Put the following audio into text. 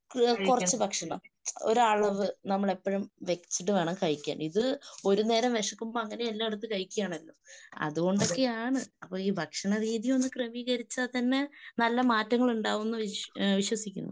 ഇഹ് കുറച്ചു ഭക്ഷണം. ഒരളവ് നമ്മള് എപ്പഴും വെച്ചിട്ട് വേണം കഴിക്കാൻ. ഇത് ഒരുനേരം വിശക്കുമ്പൊ എല്ലാം എടുത്ത് കഴിക്കിയാണല്ലോ. അതുകൊണ്ടൊക്കെയാണ്. അപ്പൊ ഈ ഭക്ഷണരീതി ഒന്ന് ക്രമീകരിച്ചാൽ തന്നെ നല്ല മാറ്റങ്ങൾ ഉണ്ടാകുമെന്ന് വിശ്വസിക്കുന്നു.